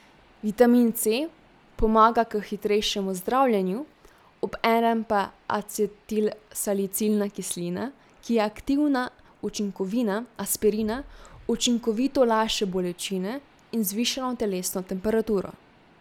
Vitamin C pomaga k hitrejšemu zdravljenju, obenem pa acetilsalicilna kislina, ki je aktivna učinkovina Aspirina, učinkovito lajša bolečine in zvišano telesno temperaturo.